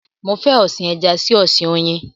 Mo fẹ́ ọ̀sin ẹja sí ọ̀sin oyin